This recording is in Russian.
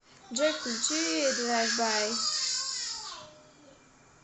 джой включи драйв бай